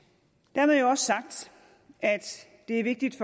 dermed jo også sagt at det er vigtigt